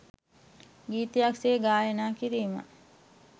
ගීතයක් සේ ගායනා කිරීම